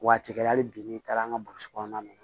Waati kɛ hali bi n'i taara an ka burusi kɔnɔna na